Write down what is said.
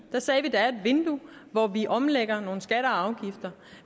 sagde at der er et vindue hvor vi omlægger nogle skatter og afgifter